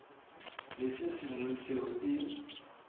le se sengwe seo e